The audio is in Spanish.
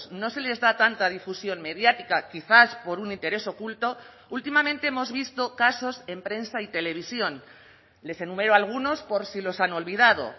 no se les da tanta difusión mediática quizás por un interés oculto últimamente hemos visto casos en prensa y televisión les enumero algunos por si los han olvidado